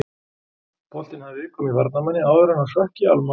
Boltinn hafði viðkomu í varnarmanni áður en hann hrökk í Almarr og inn.